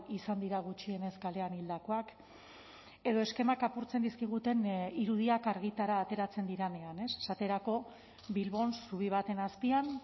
izan dira gutxienez kalean hildakoak edo eskemak apurtzen dizkiguten irudiak argitara ateratzen direnean esaterako bilbon zubi baten azpian